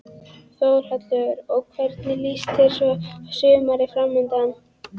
Þórhallur: Og hvernig líst þér svo á sumarið framundan?